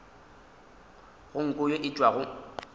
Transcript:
go nko ye e tšwago